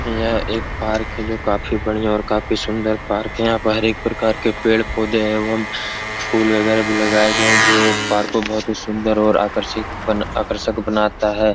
यह एक पार्क है जो काफी बढ़िया और काफी सुंदर पार्क है। यहाँ प हर एक प्रकार के पेड़-पौधे हैं एवं फूल वगेरा भी लगाए गए है जो ये पार्क को बहोत ही सुंदर और आकर्षिक बन आकर्षक बनाता है।